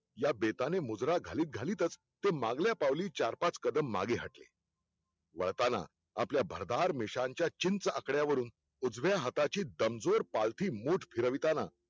या बेताने मुद्रा घालीत घालीतच ते मागल्या पाऊली चार पांच कदम माघे हटले वळताना, आपले भरदार मिश्याच्या चिंच आकड्या वरुन, उजव्या हाताची दमजोर पालथी मुठं फिरविताना